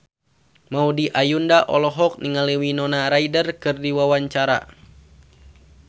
Maudy Ayunda olohok ningali Winona Ryder keur diwawancara